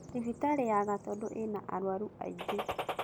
Thibitarĩ ya Gatundu ĩna arwaru aingĩ.